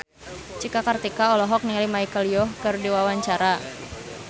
Cika Kartika olohok ningali Michelle Yeoh keur diwawancara